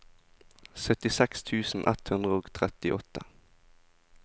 syttiseks tusen ett hundre og trettiåtte